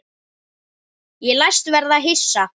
Ég læst verða hissa.